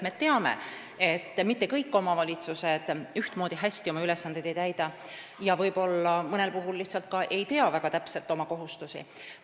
Me teame, et mitte kõik omavalitsused ei täida oma ülesandeid ühtmoodi hästi ja võib-olla mõnel puhul ei teatagi väga täpselt oma kohustusi.